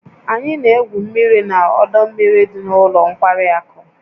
Anyị na-egwu mmiri na ọdọ mmiri dị na ụlọ nkwari akụ